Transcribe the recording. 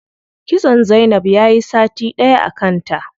Kitson zainab yayi sati ɗaya a kanta.